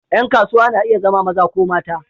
Ƴan kasuwa na iya zama maza ko mata.